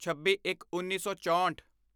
ਛੱਬੀਇੱਕਉੱਨੀ ਸੌ ਚੋਂਹਠ